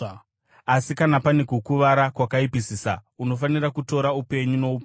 Asi kana pane kukuvara kwakaipisisa, unofanira kutora upenyu noupenyu,